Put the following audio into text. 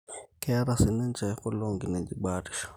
keeta si ninche kule onkinejik baatisho